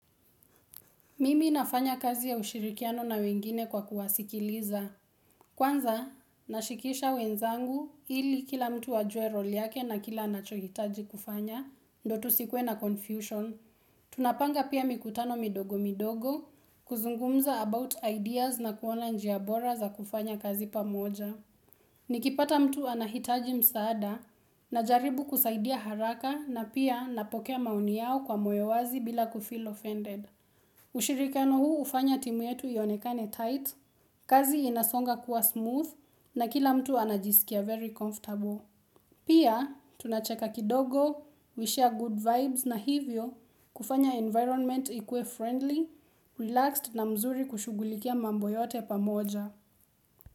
Mimi nafanya kazi ya ushirikiano na wengine kwa kuwasikiliza. Kwanza, nashikisha wenzangu ili kila mtu ajue role yake na kila anachohitaji kufanya, ndotu sikuwe na confusion. Tunapanga pia mikutano midogo midogo, kuzungumza about ideas na kuona njia bora za kufanya kazi pamoja. Nikipata mtu anahitaji msaada, najaribu kusaidia haraka na pia napokea maoni yao kwa moyo wazi bila kufeel offended. Ushirikiano huu hufanya timu yetu ionekane tight, kazi inasonga kuwa smooth na kila mtu anajisikia very comfortable Pia tunacheka kidogo, we share good vibes na hivyo kufanya environment ikue friendly, relaxed na mzuri kushugulikia mambo yote pamoja.